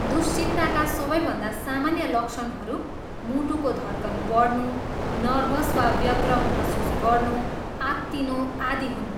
दुश्चिन्ताका सबैभन्दा सामान्य लक्षणहरू मुटुको धड्कन बढ्नु, नर्भस वा व्यग्र महसुस गर्नु, आत्तिनु आदि हुन्।